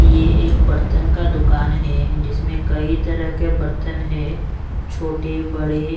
ये एक बर्तन का दुकान है जिसमें कई तरह के बर्तन है छोटे बड़े--